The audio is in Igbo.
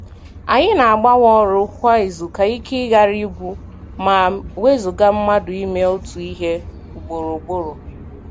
Anyị na-agbanwe ọrụ kwa izu ka ike ghara ịgwụ ma wezuga mmadụ ime otu ihe ugboro ugboro